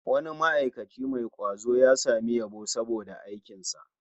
Wani ma'aikaci mai kwazo ya samu yabo saboda aikinsa